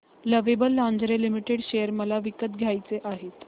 lovable lingerie limited share मला विकत घ्यायचे आहेत